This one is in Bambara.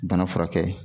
Bana furakɛ